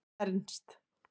Ernst